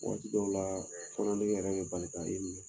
Wagati dɔw la kɔdimi yɛrɛ bɛ bali ka i minɛ.